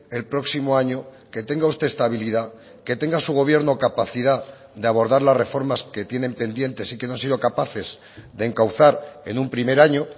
el próximo año que tenga usted estabilidad que tenga su gobierno capacidad de abordar las reformas que tienen pendientes y que no han sido capaces de encauzar en un primer año